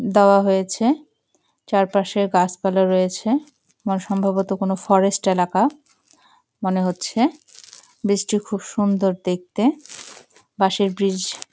দেওয়া হয়েছে চারপাশে গাছ পালা রয়েছে সম্ভবত কোনো ফরেস্ট এলাকা মনে হচ্ছে ব্রিজ -টি খুব সুন্দর দেখতে বাঁশের ব্রিজ ।